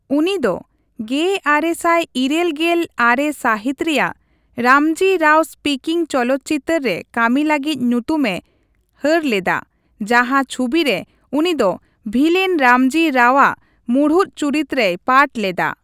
ᱩᱱᱤ ᱫᱚ ᱑᱙᱘᱙ ᱥᱟᱹᱦᱤᱛ ᱨᱮᱭᱟᱜ 'ᱨᱟᱢᱽᱡᱤ ᱨᱟᱣ ᱥᱯᱤᱠᱤᱝ' ᱪᱚᱞᱚᱛ ᱪᱤᱛᱟᱹᱨ ᱨᱮ ᱠᱟᱹᱢᱤ ᱞᱟᱹᱜᱤᱫ ᱧᱩᱛᱩᱢᱮ ᱦᱟᱹᱨ ᱞᱮᱫᱟ, ᱡᱟᱦᱟᱸ ᱪᱷᱩᱵᱤ ᱨᱮ ᱩᱱᱤ ᱫᱚ ᱵᱷᱤᱞᱮᱱ ᱨᱟᱢᱽᱡᱤ ᱨᱟᱣᱼᱟᱜ ᱢᱩᱬᱩᱛ ᱪᱩᱨᱤᱛ ᱨᱮᱭ ᱯᱟᱴ ᱞᱮᱫᱟ ᱾